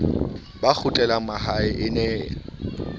ba kgutlelang mahae e ne